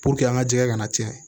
Puruke an ka jɛ ka na tiɲɛ